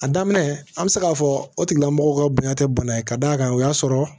A daminɛ an bɛ se k'a fɔ o tigilamɔgɔ ka bonya tɛ bana ye ka d'a kan o y'a sɔrɔ